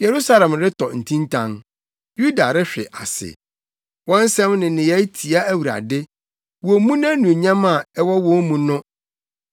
Yerusalem retɔ ntintan, Yuda rehwe ase; wɔn nsɛm ne nneyɛe tia Awurade. Wommu nʼanuonyam a ɛwɔ wɔn mu no.